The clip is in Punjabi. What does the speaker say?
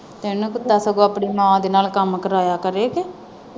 ਸਗੋਂ ਆਪਣੀ ਮਾਂ ਦੇ ਨਾਲ ਕੰਮ ਕਰਾਇਆ ਕਰੇ ਕੇ।